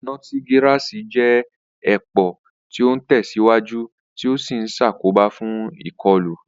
Notigirasi jẹ́ èpò tí ó ń tẹ̀síwájú tí ó sì ń ṣàkóbá fún ìkọlù.